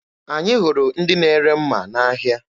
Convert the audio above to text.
Anyị hụrụ ndị na-ere mma n'ahịa.